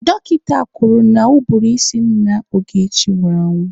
Dọkịta kwuru na ụbụrụ ísí nna Ogechi nwụrụ anwụ.